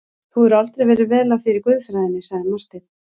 Þú hefur aldrei verið vel að þér í guðfræðinni, sagði Marteinn.